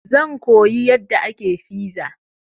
Zan koyi yadda ake fiza.